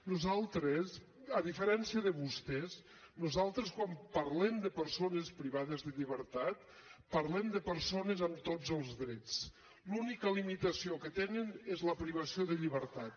nosaltres a diferència de vostès nosaltres quan parlem de persones privades de llibertat parlem de persones amb tots els drets l’única limitació que tenen és la privació de llibertat